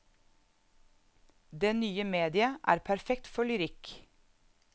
Det nye mediet er perfekt for lyrikk.